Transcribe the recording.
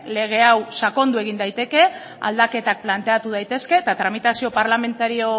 lege hau sakondu egin daiteke aldaketak planteatu daitezke eta tramitazio parlamentario